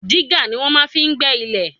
Dígà ni wọ́n máa fi ń gbẹ́ ilẹ̀.